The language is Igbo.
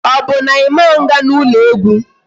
Ọ bụ na Ị ma nga n'ụlọ egwu?